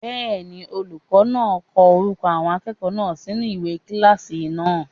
Bẹ́ẹ̀ni, olùkọ́ náà ń ko orúkọ àwọn akẹ́kọ̀ọ́ náà sinú ìwé orúkọ kílásì náà.